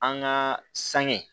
An ka sange